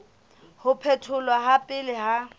ho phetholwa ha pele ha